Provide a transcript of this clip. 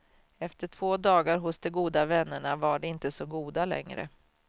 Efter två dagar hos de goda vännerna var de inte så goda längre.